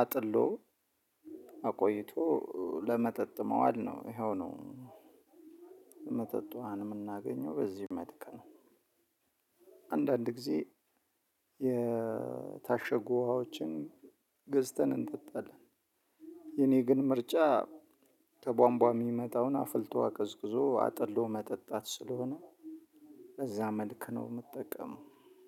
አጥሎ አቆይቶ ለመጠጥ ማዋል ነው። ይሄው ነው። መጠጧን የምናገኘው በዚህልክ ነው። አንዳንድ ጊዜ የታሸጉ ውሃዎችን ገዝተን እንጠጣለን። የኔ ግን ምርጫ ከቧንቧን የሚመጣውን አፍልቶ አቀዝቅዞ አጥሎ መጠጣት ስለሆነ እዛ መልክ ነው የምጠቀመው።